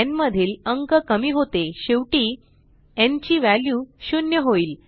न् मधील अंक कमी होते शेवटी न् ची व्हॅल्यू शून्य होईल